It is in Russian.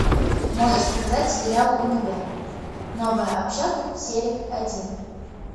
можешь показать сериал универ новая общага серия один